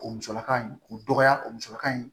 O musalaka in o dɔgɔya o musɔrɔkan in